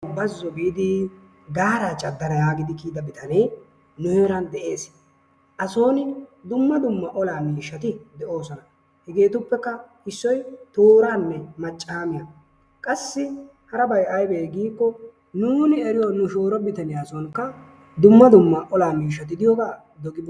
Baazo biidi gaaraa daccana yaagid kiiyida bitanee nu heeran de'ees. Asooni dumma dumma olaa miishshati de'oosona. Hegeetuppekaa issoy tooranne maccamiyaa qassi harabay aybee giiko, nuuni eriyoo nu shooro bitaniyaa sonka dumma dumma olaa miishshati diyoogaa doogiboko.